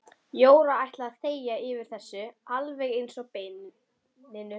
Jóra ætlaði að þegja yfir þessu alveg eins og beininu.